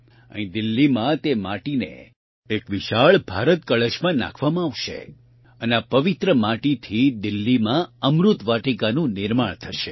અહીં દિલ્હીમાં તે માટીને એક વિશાળ ભારત કળશમાં નાંખવામાં આવશે અને આ પવિત્ર માટીથી દિલ્લીમાં અમૃતવાટિકાનું નિર્માણ થશે